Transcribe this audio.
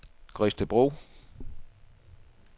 Gredstedbro